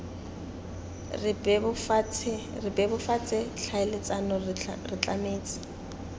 re bebofatse tlhaeletsano re tlametse